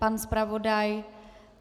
Pan zpravodaj?